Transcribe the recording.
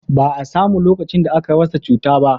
ba a samu lokacin da aka rasa cuta ba